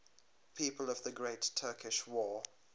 people of the great turkish war